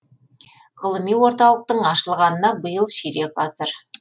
ғылыми орталықтың ашылғанына биыл ширек ғасыр